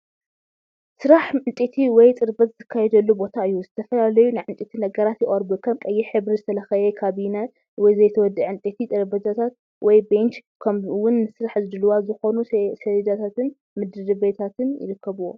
ስራሕ ዕንጨይቲ ወይ ጽርበት ዝካየደሉ ቦታ እዩ። ዝተፈላለዩ ናይ ዕንጨይቲ ነገራት ይቐርቡ: ከም ቀይሕ ሕብሪ ዝተለኽየ ካቢነ: ዘይተወድአ ዕንጨይቲ ጠረጴዛታት/ቤንች: ከምኡውን ንስራሕ ድሉዋት ዝኾኑ ሰሌዳታትን ምድሪቤታትን ይርከብዎ።